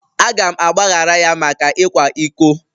Aga m agbaghara ya maka ịkwa iko.